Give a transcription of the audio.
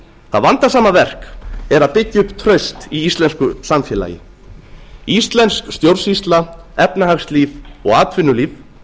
það vandasama verk er að byggja upp traust í íslensku samfélagi íslensk stjórnsýsla efnahagslíf og atvinnulíf